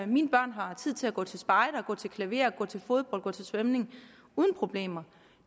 mine børn har tid til at gå til spejder gå til klaver gå til fodbold og gå til svømning uden problemer